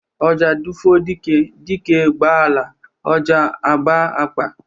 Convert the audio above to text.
Ọjà dufuo dike, dike ba ala, ọjà aba akpa